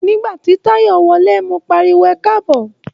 Nígbà tí Táyọ̀ wọlé, mo pariwo "ẹkáàbọ̀".